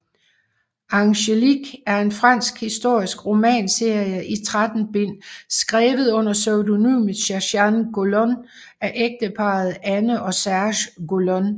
Angélique er en fransk historisk romanserie i 13 bind skrevet under pseudonymet Sergéanne Golon af ægteparret Anne og Serge Golon